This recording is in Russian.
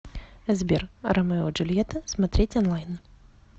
сбер ромео и джульета смотреть онлайн